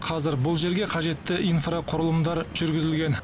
қазір бұл жерге қажетті инфрақұрылымдар жүргізілген